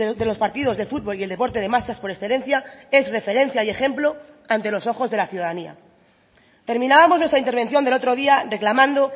de los partidos de futbol y el deporte de masas por excelencia es referencia y ejemplo ante los ojos de la ciudadanía terminábamos nuestra intervención del otro día reclamando